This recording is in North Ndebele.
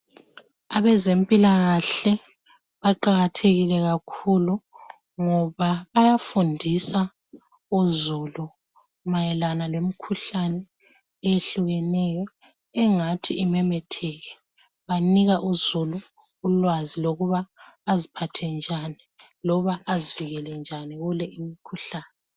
Abezempilakahle baqakathekile kakhulu ngoba bayafundisa uzulu mayelana lemikhuhlane eyehlukeneyo engathi imemetheke banika uzulu ulwazi lokuba baziphathe njani njalo bazivikele njani.